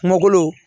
Kungolo